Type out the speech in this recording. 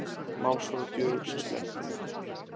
Málsvara djöfulsins sleppt